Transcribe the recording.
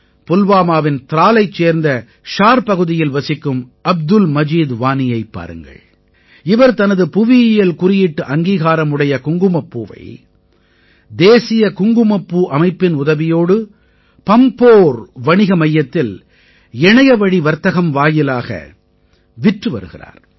புல்வாமாவின் த்ராலைச் சேர்ந்த ஷார் பகுதியில் வசிக்கும் அப்துல் மஜீத் வானியைப் பாருங்களேன் இவர் தனது புவியியல் குறியீட்டு அங்கீகாரம் உடைய குங்குமப்பூவை தேசிய குங்குமப்பூ அமைப்பின் உதவியோடு பம்போர் வணிக மையத்தில் இணையவழி வர்த்தகம் வாயிலாக விற்று வருகிறார்